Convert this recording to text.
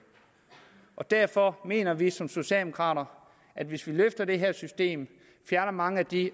og derfor mener vi som socialdemokrater at hvis vi løfter det her system fjerner mange af de